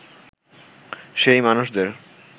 সেই মানুষদের